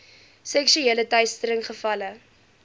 seksuele teistering gevalle